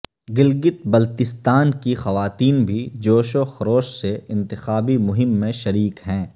گلگت بلتستان کی خواتین بھی جوش و خروش سے انتخابی مہم میں شریک ہیں